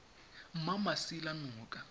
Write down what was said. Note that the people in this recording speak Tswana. mmamasilanoka